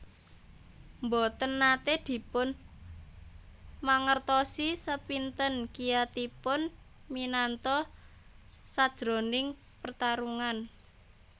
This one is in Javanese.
Mboten nate dipun mangertosi sepinten kiyatipun Minato sajroning pertarungan